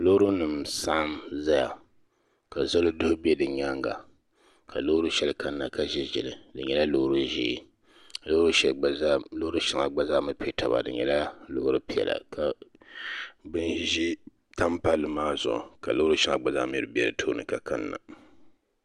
Loori nim n saɣam ʒɛya ka zoli duli bɛ bi nyaanga ka loori shɛli kanna ka ʒiri ʒili di nyɛla loori ʒiɛ loori shɛŋa gba zaa mii piɛ taba di nyɛla loori piɛla ka bin ʒiɛ tam palli maa zuɣu ka loori shɛŋa mii gba zaa bɛ di tooni ka kanna